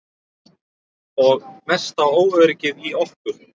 Og mesta óöryggið í okkur.